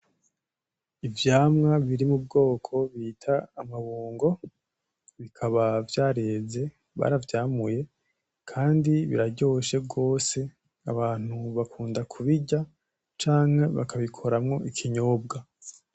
Ivyamwa biri mu bwoko bita amabungo, bikaba vyareze baravyamuye kandi biraryoshe gose , abantu bakunda kubirya canke bakabikoramwo ikinyobwa.